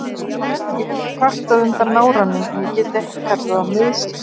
Ég hef kvartað undan náranum en ég get ekki kallað það meiðsli.